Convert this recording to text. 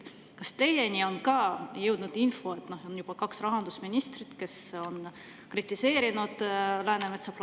Kas teieni on ka jõudnud info, et juba kaks rahandusministrit on kritiseerinud Läänemetsa planeerimist?